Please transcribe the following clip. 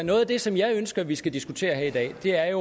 noget af det som jeg ønsker vi skal diskutere her i dag det er